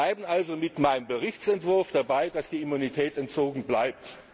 worden. Wir bleiben also mit meinem Bericht dabei, dass die Immunität entzogen bleibt.